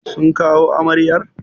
Sun kawo amaryar?